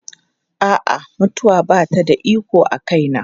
A'a, mutuwa ba ta da iko a kaina.